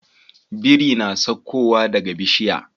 Biri na sakko wa daka bishiya